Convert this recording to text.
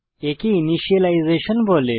একে ইনিসিয়েলাইজেসন বলে